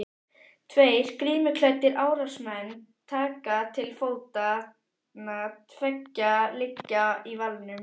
Tveir grímuklæddir árásarmenn taka til fótanna, tveir liggja í valnum.